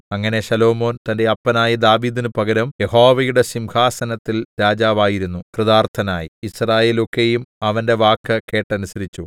അങ്ങനെ ശലോമോൻ തന്റെ അപ്പനായ ദാവീദിന് പകരം യഹോവയുടെ സിംഹാസനത്തിൽ രാജാവായിരുന്നു കൃതാർത്ഥനായി യിസ്രായേലൊക്കെയും അവന്റെ വാക്ക് കേട്ടനുസരിച്ചു